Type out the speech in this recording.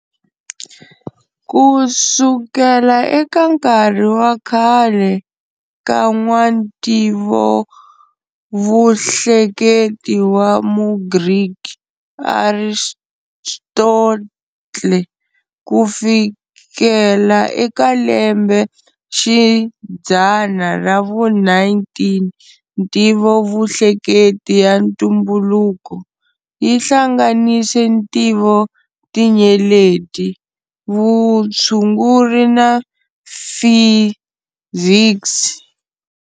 Kusukela eka nkarhi wa khale ka n'wa Ntivovuhleketi wa mugriki Aristotle ku fikela eka lembe xidzana ra vu 19,"Ntivovuhleketi ya ntumbuluko" yihlanganise Ntivotinyeleti, Vutshunguri na Fiziksi.